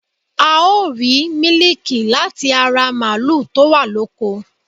A ó rìí mílíkì láti ara màlúù to wa loko